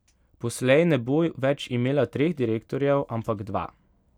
Poslej ne bo več imela treh direktorjev, ampak dva.